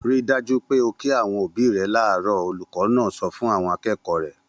Ri dájú pé o kí àwọn òbí rẹ láàárọ̀! Olùkọ́ náà sọ fún àwọn akẹ́kọ̀ọ́ rẹ̀.